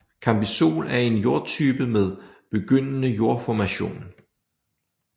Cambisol er en jordtype med begyndende jordformation